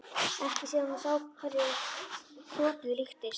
Ekki síðan hún sá hverju krotið líktist.